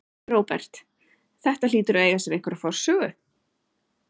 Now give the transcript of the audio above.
Róbert: Þetta hlýtur að eiga sér einhverja forsögu?